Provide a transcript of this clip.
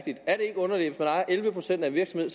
sælge en virksomhed